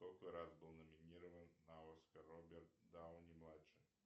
сколько раз был номинирован на оскар роберт дауни младший